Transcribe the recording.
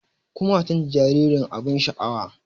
Kumatun jaririn abin sha'awa